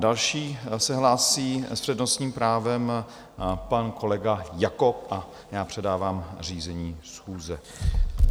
Další se hlásí s přednostním právem pan kolega Jakob a já předávám řízení schůze.